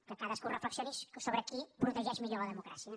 que cadascú reflexioni sobre qui protegeix millor la democràcia